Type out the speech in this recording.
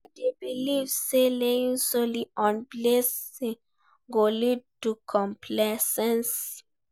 I dey believe say relying solely on blessing go lead to complacency.